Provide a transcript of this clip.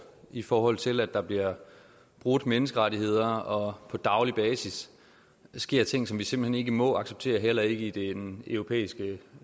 i forhold til at der bliver brudt menneskerettigheder og på daglig basis sker ting som vi simpelt hen ikke må acceptere heller ikke i den europæiske